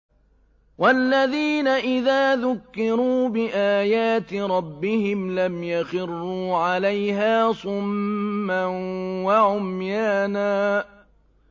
وَالَّذِينَ إِذَا ذُكِّرُوا بِآيَاتِ رَبِّهِمْ لَمْ يَخِرُّوا عَلَيْهَا صُمًّا وَعُمْيَانًا